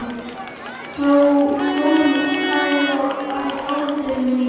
Flóvent, hvað er á áætluninni minni í dag?